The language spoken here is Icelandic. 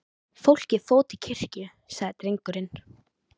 Fólkið fór til kirkju, sagði drengurinn.